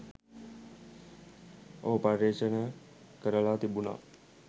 ඔහු පර්යේෂණ කරලා තිබුනා